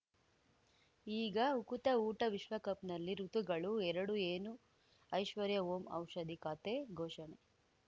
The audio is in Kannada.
ಈಗ ಉಕುತ ಊಟ ವಿಶ್ವಕಪ್‌ನಲ್ಲಿ ಋತುಗಳು ಎರಡು ಏನು ಐಶ್ವರ್ಯಾ ಓಂ ಔಷಧಿ ಖಾತೆ ಘೋಷಣೆ